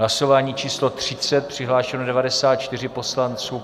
Hlasování číslo 30. Přihlášeni 94 poslanci.